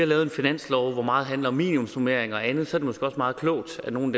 lavet en finanslov hvor meget handler om minimumsnormeringer og andet så er det måske også meget klogt at nogle